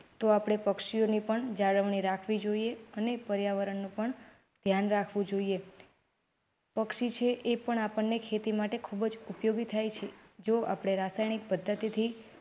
તો આપડે પક્ષીઓની પણ જાળવણી રાખવી જોઈએ અને પર્યાવરણનું પણ ધ્યાન રાખવું જોઈએ પક્ષી છે એ પણ આપણને ખેતી માટે ખૂબ જ ઉપયોગી થાય. જો આપને રાસાયણિક પદ્ધતિથી